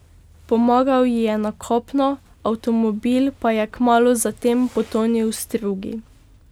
Pomagal ji je na kopno, avtomobil pa je kmalu zatem potonil v strugi.